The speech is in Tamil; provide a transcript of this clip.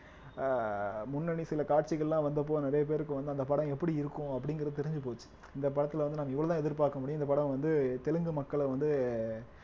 ஆஹ் முன்னனி சில காட்சிகள்லாம் வந்தப்போ நிறைய பேருக்கு வந்து அந்த படம் எப்படி இருக்கும் அப்படிங்கிறது தெரிஞ்சு போச்சு இந்த படத்திலே வந்து நாங்க இவ்வளவுதான் எதிர்பார்க்க முடியும் இந்த படம் வந்து தெலுங்கு மக்கள வந்து